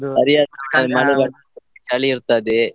ಸರಿಯಾದ time ಮಳೆ ಬರ್ತಿತ್ತು, ಚಳಿ ಇರ್ತದೆ.